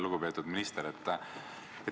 Lugupeetud minister!